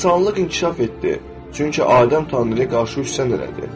İnsanlıq inkişaf etdi, çünki Adəm Tanrıya qarşı üsyan elədi.